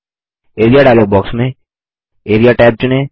area dialog box में AREA tab चुनें